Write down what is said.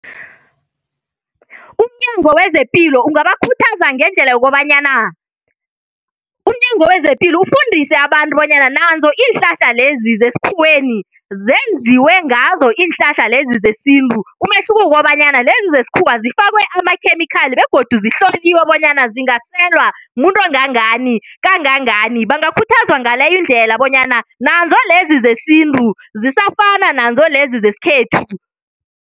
UmNyango wezePilo ungabakhuthaza ngendlela yokobanyana, umNyango wezePilo ufundise abantu bonyana nazo iinhlahla lezi zesikhuweni zenziwe ngazo iinhlahla lezi zesintu umehluko kukobanyana lezi zesikhuwa zifakwe amakhemikhali begodu zihloliwe bonyana zingaselwa mumuntu ongangani, kangangani bangakhuthazwa ngaleyo indlela bonyana nanzo lezi zesintu zisafana nazo lezi zesikhethu.